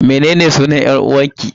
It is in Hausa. Mene ne sunan 'yar uwarki?